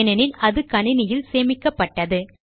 ஏனெனில் அது கணினியில் சேமிக்கப்பட்டது